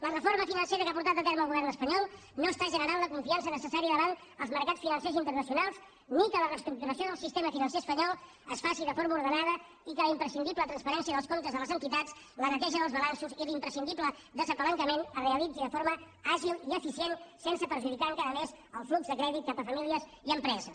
la reforma financera que ha portat a terme el govern espanyol no està generant la confiança necessària davant els mercats financers internacionals ni que la reestructuració del sistema financer espanyol es faci de forma ordenada ni que la imprescindible transparència dels comptes de les entitats la neteja del balanços i l’imprescindible despalanquejament es realitzi de forma àgil i eficient sense perjudicar encara més el flux de crèdit cap a famílies i empreses